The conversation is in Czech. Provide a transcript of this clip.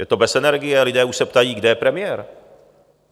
Je to bez energie, lidé už se ptají: Kde je premiér?